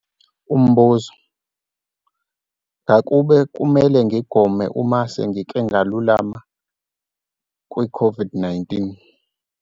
Umbuzo- Ngakube kumele ngigome uma sengike ngalulama kwiCOVID-19?